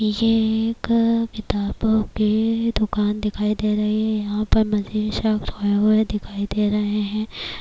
یہ ک کتابو کے دکان دکھائی دے رہے ہے۔ یہا پر دکھائی دے رہے ہے۔